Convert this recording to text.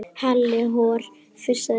Halli hor fussaði Lúlli.